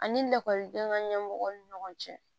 Ani lakɔliden ka ɲɛmɔgɔw ni ɲɔgɔn cɛ